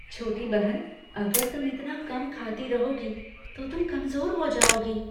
छोटी बहन, अगर तुम इतना कम खाती रहोगी तो तुम कमजोर हो जाओगी।